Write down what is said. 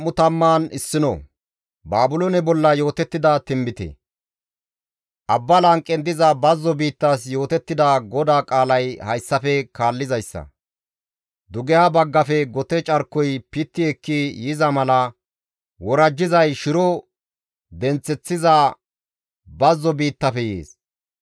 Abba lanqen diza bazzo biittas yootettida GODAA qaalay hayssafe kaallizayssa. Dugeha baggafe gote carkoy pitti ekki yiza mala worajjizay shiro denththeththiza bazzo biittafe yees.